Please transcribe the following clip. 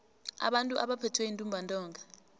abantu abaphethwe yintumbantonga